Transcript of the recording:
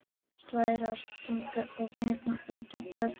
Slær á strengina og gengur út á götuna.